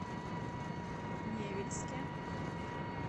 невельске